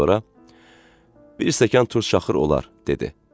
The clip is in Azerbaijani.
Sonra Bir stəkan turş şaxır olar, dedi.